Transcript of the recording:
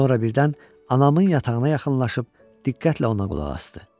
Sonra birdən anamın yatağına yaxınlaşıb diqqətlə ona qulaq asdı.